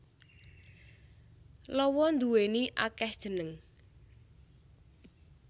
Lawa nduwéni akéh jeneng